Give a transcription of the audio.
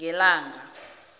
ngelanga